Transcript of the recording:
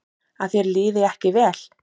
Að þér liði ekki vel.